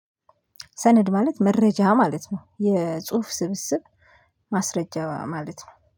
ሰነድ ማለት መረጃ ማለት ነው የጽሁፍ ስብስብ ማስረጃ ማለት ነው